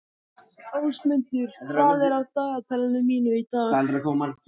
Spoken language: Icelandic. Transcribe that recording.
Ásmundur, hvað er á dagatalinu mínu í dag?